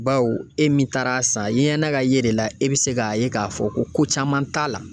Bawo e min taara'a san, ye ɲana ka ye de la, e bi se k'a ye k'a fɔ ko caman t'a la.